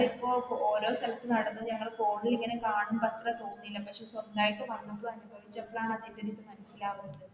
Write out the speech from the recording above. ഓരോ സ്ഥലത്തു നടന്നു ഞങ്ങള് phone ൽ ഇങ്ങനെ കാണുമ്പോൾ അത്ര തോന്നില്ല പക്ഷെ സ്വന്തമായിട്ട് വന്നപ്പോ അനുഭവിച്ചപ്പോൾ ആണ് അതിന്റെ ഒരു ഇത് മനസിലാകുന്നത്.